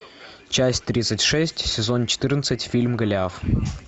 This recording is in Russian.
часть тридцать шесть сезон четырнадцать фильм голиаф